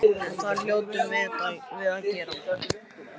En það hljótum við að geta.